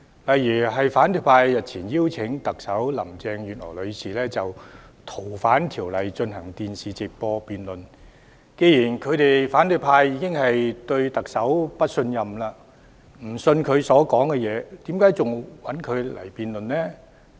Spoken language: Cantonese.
舉例而言，反對派日前邀請特首林鄭月娥女士就《逃犯條例》進行電視直播辯論，但既然反對派已對特首表示不信任，不會相信她的說話，為何還要與她辯論呢？